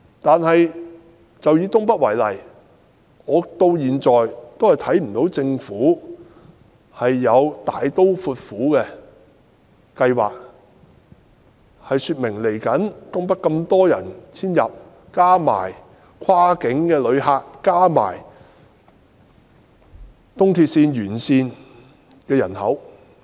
但是，以東北為例，我到現在也看不到政府有大刀闊斧的計劃進行基建，以應付未來遷入東北的人口、跨境旅客及東鐵綫沿線人口。